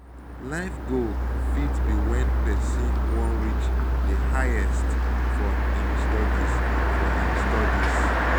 life goal fit be when person wan reach di highest for im studies for im studies